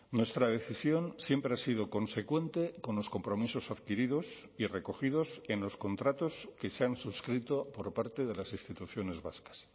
nuestra decisión siempre ha sido consecuente con los compromisos adquiridos y recogidos en los contratos que se han suscrito por parte de las instituciones vascas